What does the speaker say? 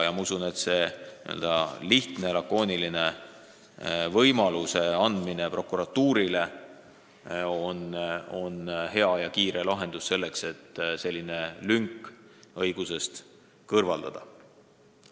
Ma usun, et prokuratuurile lihtsa ja lakoonilise võimaluse andmine on hea ja kiire lahendus, selleks et saaks sellise lünga õigusest kõrvaldada.